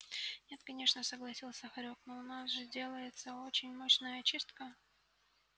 нет конечно согласился хорёк но у нас же делается очень мощная очистка